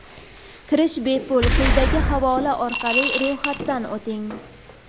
Kirish bepul, quyidagi havola orqali ro‘yxatdan o‘ting:.